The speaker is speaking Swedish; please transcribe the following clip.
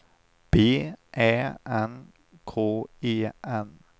B Ä N K E N